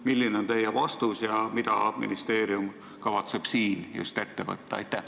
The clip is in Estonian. Milline on teie vastus ja mida ministeerium kavatseb siin ette võtta?